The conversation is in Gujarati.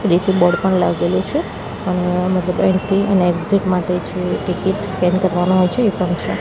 બોર્ડ પણ લાગેલુ છે અને એન્ટ્રી અને એક્ઝિટ માટે છે ટિકિટ સ્કેન કરવાનું હોય છે એ પણ છે.